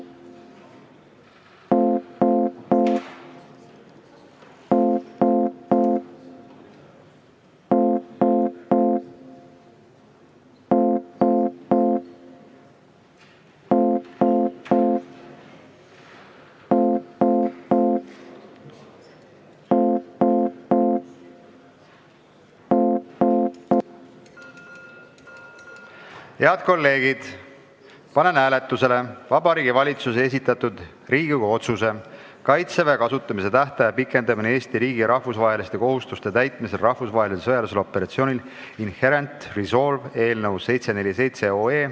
Head kolleegid, panen hääletusele Vabariigi Valitsuse esitatud Riigikogu otsuse "Kaitseväe kasutamise tähtaja pikendamine Eesti riigi rahvusvaheliste kohustuste täitmisel rahvusvahelisel sõjalisel operatsioonil Inherent Resolve" eelnõu 747.